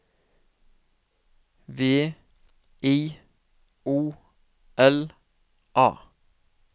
V I O L A